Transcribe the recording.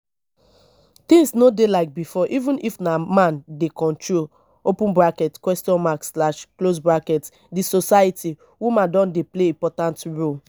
things no dey like before even if na man dey control di society woman don dey play important role